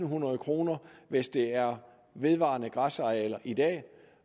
hundrede kr hvis det er vedvarende græsarealer i dag